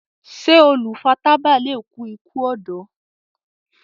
ṣe olu fà tábà lẹ kú iku ọdọ?